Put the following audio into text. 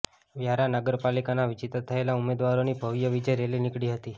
વ્યારા નગરપાલિકાના વિજેતા થયેલા ઉમેદવારોની ભવ્ય વિજય રેલી નીકળી હતી